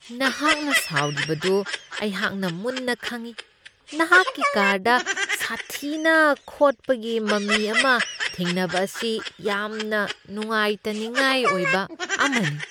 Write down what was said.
ꯅꯍꯥꯛꯅ ꯁꯥꯎꯔꯤꯕꯗꯨ ꯑꯩꯍꯥꯛꯅ ꯃꯨꯟꯅ ꯈꯪꯢ ꯫ ꯅꯍꯥꯛꯀꯤ ꯀꯥꯔꯗ ꯁꯥꯊꯤꯅ ꯈꯣꯠꯄꯒꯤ ꯃꯃꯤ ꯑꯃ ꯊꯦꯡꯅꯕ ꯑꯁꯤ ꯌꯥꯝꯅ ꯅꯨꯡꯉꯥꯏꯇꯅꯤꯡꯉꯥꯏ ꯑꯣꯏꯕ ꯑꯃꯅꯤ ꯫